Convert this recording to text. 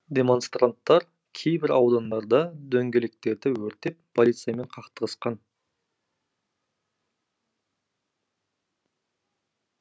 демонстранттар кейбір аудандарда дөңгелектерді өртеп полициямен қақтығысқан